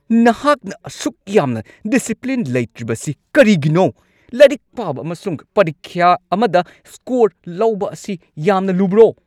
ꯅꯍꯥꯛꯅ ꯑꯁꯤ ꯑꯁꯨꯛ ꯌꯥꯝꯅ ꯗꯤꯁꯤꯄ꯭ꯂꯤꯟ ꯂꯩꯇ꯭ꯔꯤꯕꯁꯤ ꯀꯔꯤꯒꯤꯅꯣ? ꯂꯥꯏꯔꯤꯛ ꯄꯥꯕ ꯑꯃꯁꯨꯡ ꯄꯔꯤꯈ꯭ꯌꯥ ꯑꯃꯗ ꯁ꯭ꯀꯣꯔ ꯂꯧꯕ ꯑꯁꯤ ꯌꯥꯝꯅ ꯂꯨꯕ꯭ꯔꯣ?